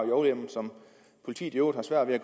lovhjemmel som politiet i øvrigt har svært ved at